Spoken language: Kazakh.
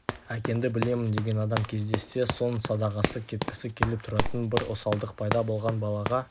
әкеңді білемін деген адам кездессе соның садағасы кеткісі келіп тұратын бір осалдық пайда болған балаға